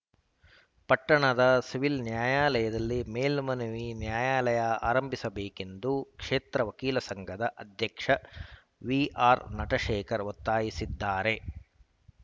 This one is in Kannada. ಪಟ್ಟಣದ ಸಿವಿಲ್‌ ನ್ಯಾಯಾಲಯದಲ್ಲಿ ಮೇಲ್ಮನವಿ ನ್ಯಾಯಾಲಯ ಆರಂಭಿಸಬೇಕೆಂದು ಕ್ಷೇತ್ರ ವಕೀಲರ ಸಂಘದ ಅಧ್ಯಕ್ಷ ವಿಆರ್‌ನಟಶೇಖರ್‌ ಒತ್ತಾಯಿಸಿದ್ದಾರೆ